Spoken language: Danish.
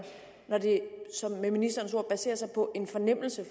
når det med ministerens ord baserer sig på en fornemmelse